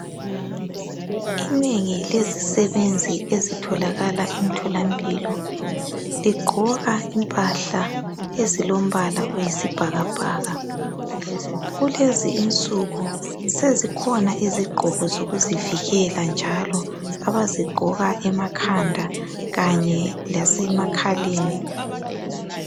Inengi lezisebenzi ezitholakala emtholampilo ligqoka impahla ezilombala wesibhakabhaka kulezi nsuku sezikhona izigqoko zokuzivikela njalo abazigqoka emakhanda kanye lasemakhaleni.